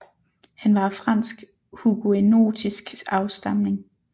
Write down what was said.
Han var af fransk huguenotisk afstamning